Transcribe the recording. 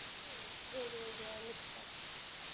वेगवेगळ्या निघतात.